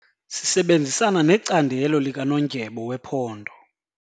Sisebenzisana necandelo likanondyebo wephondo.